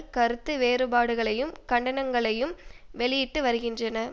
கருத்து வேறுபாடுகளையும் கண்டனங்களையும் வெளியிட்டு வருகின்றன